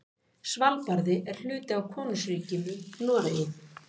Svalbarði er hluti af Konungsríkinu Noregi.